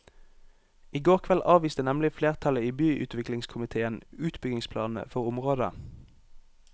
I går kveld avviste nemlig flertallet i byutviklingskomitéen utbyggingsplanene for området.